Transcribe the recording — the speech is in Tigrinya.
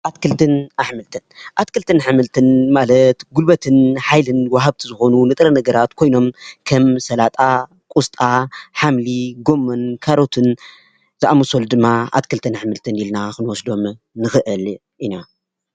ኣትክልትን ኣሕምልት፡ኣትክልትን ኣሕምልት ማለት ጉልበትን ሓይልን ወሃብቲ ዝኮኑ ንጥረ ነገራት ኮይኖም ከም ሰላጣ ፣ቆስጣ፣ ሓምሊ፣ ካሮት ፣ጎሞን ዝኣምሰሉ ድማ ኣትክልትን ኣሕምልትን ኢልና ክንወስዶም ንክእል ኢና፡፡